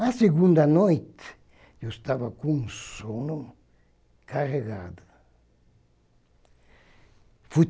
Na segunda noite, eu estava com sono carregado. Fui